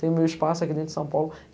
Tenho meu espaço aqui dentro de São Paulo.